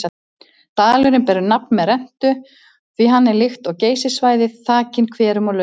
Dalurinn ber nafn með rentu því hann er líkt og Geysissvæðið þakinn hverum og laugum.